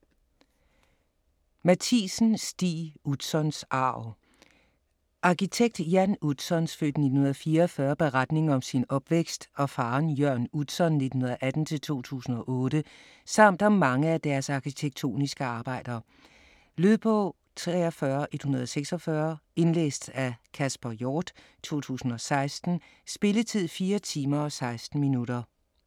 Matthiesen, Stig: Utzons arv Arkitekt Jan Utzons (f. 1944) beretning om sin opvækst og faderen Jørn Utzon (1918-2008) samt om mange af deres arkitektoniske arbejder. Lydbog 43146 Indlæst af Kasper Hjort, 2016. Spilletid: 4 timer, 16 minutter.